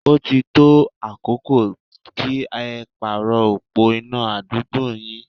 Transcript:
Ó ti tó àkókò kí ẹ pàrọ̀ opó iná àdúgbò yín.